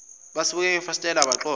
basibuke ngefasitela baxoxa